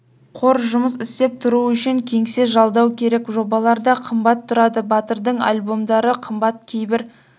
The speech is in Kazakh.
қор жұмыс істеп тұруы үшін кеңсе жалдау керек жобалар да қымбат тұрады батырдың альбомдары қымбат кейбір